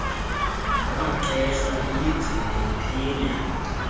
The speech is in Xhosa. nabaqeshwa iyigcine iphila